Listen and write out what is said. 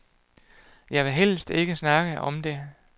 Jeg vil helst ikke snakke om det.